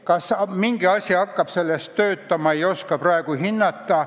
Kas mingi osa sellest hakkab töötama, ei oska praegu hinnata.